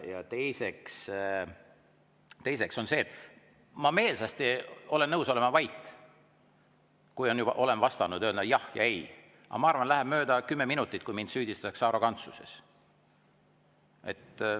Ja teiseks, ma meelsasti olen nõus olema vait või ütlema vastates "jah" või "ei", aga ma arvan, et läheb mööda kümme minutit ja mind süüdistatakse arrogantsuses.